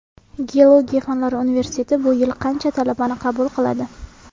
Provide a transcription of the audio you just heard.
Geologiya fanlari universiteti bu yil qancha talabani qabul qiladi?